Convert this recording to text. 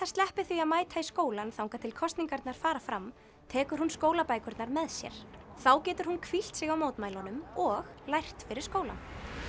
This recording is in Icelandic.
sleppi því að mæta í skólann þangað til kosningarnar fara fram tekur hún skólabækurnar með sér þá getur hún hvílt sig á mótmælunum og lært fyrir skólann